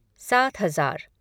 सात हज़ार